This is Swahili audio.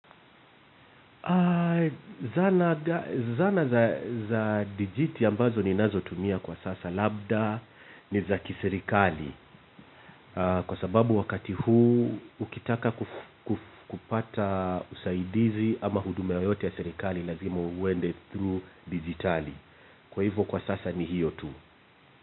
Zana za dijiti ambazo ni nazo tumia kwa sasa labda ni za kiserikali. Kwa sababu wakati huu ukitaka kupata usaidizi ama huduma yoyote ya serikali lazima uende through digitali. Kwa hivyo kwa sasa ni hiyo tu.